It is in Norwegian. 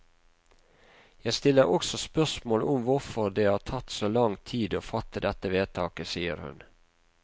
Jeg stiller også spørsmål om hvorfor det har tatt så lang tid å fatte dette vedtaket, sier hun.